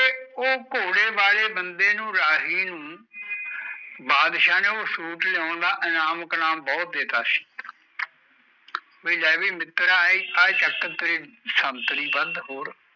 ਓ ਘੋੜੇ ਵਾਲੇ ਬੰਦੇ ਨੂੰ ਰਾਹੀਂ ਨੂੰ ਬਾਦਸ਼ਾਹ ਨੇ ਉਹ ਸੁਟ ਲਿਆਉਣ ਦਾ ਇਨਾਮ ਕਨਾਮ ਬਹੁਤ ਦੇਤਾ ਸੀ ਬਇ ਲੈ ਬੀ ਮਿੱਤਰਾ ਏ ਚਕ ਤੇਰੀ ਸਮਤਰੀ ਬੰਦ ਔਰ